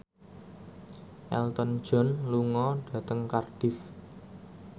Elton John lunga dhateng Cardiff